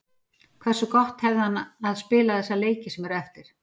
Hversu gott hefði hann að spila þessa leiki sem eru eftir?